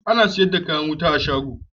Ana siyar da kayan wuta ne a shago